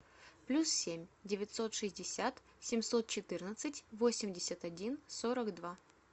плюс семь девятьсот шестьдесят семьсот четырнадцать восемьдесят один сорок два